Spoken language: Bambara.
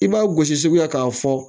I b'a gosi sugu la k'a fɔ